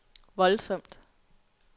voldsomt